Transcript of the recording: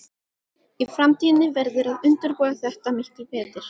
Í framtíðinni verður að undirbúa þetta miklu betur.